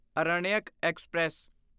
Aranyak express